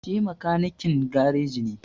Shi makanikin gareji ne,